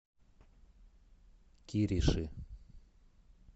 кириши